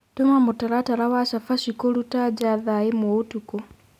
tuma mũtaratara wa chabachĩ kũrũta ja thaa ĩmwe ũtũkũ